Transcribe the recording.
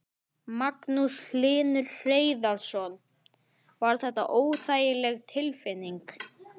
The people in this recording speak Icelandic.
Magnús Hlynur Hreiðarsson: Var þetta óþægileg tilfinning?